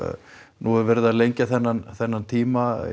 nú er verið að lengja þennan þennan tíma